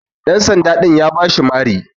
Ɗan sanda din ya bashi Mari.